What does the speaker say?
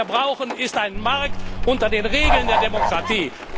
Was wir brauchen, ist ein Markt unter den Regeln der Demokratie.